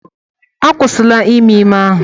Akwụsịla ime ime ahụ!